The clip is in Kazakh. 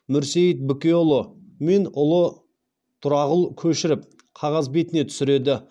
мүрсейіт бікеұлы мен ұлы тұрағұл көшіріп қағаз бетіне түсіреді